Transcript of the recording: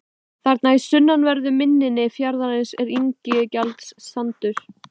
Þarna í sunnanverðu mynni fjarðarins er Ingjaldssandur.